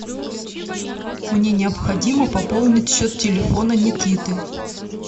мне необходимо пополнить счет телефона никиты